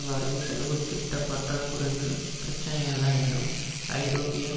வரவுசெலவு திட்ட பற்றா குறைகள் பிரச்சனை அல்ல என்றும் ஐரோப்பிய